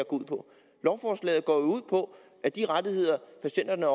ud på lovforslaget går ud på at de rettigheder patienterne